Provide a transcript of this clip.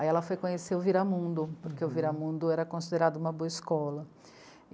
Aí ela foi conhecer o Viramundo, porque o Viramundo era considerado uma boa escola.